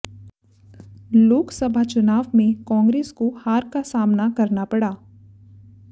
लोकसभा चुनाव में कांग्रेस को हार का सामना करना पड़ा